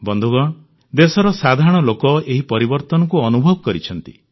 ବନ୍ଧୁଗଣ ଦେଶର ସାଧାରଣ ଲୋକ ଏହି ପରିବର୍ତ୍ତନକୁ ଅନୁଭବ କରିଛନ୍ତି